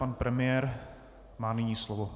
Pan premiér má nyní slovo.